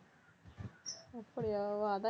அப்படியா ஓ அதான்